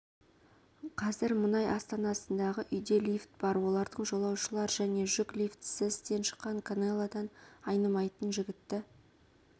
қазір мұнай астанасындағы үйде лифт бар олардың жолаушылар және жүк лифтісі істен шыққан канелодан айнымайтын жігітті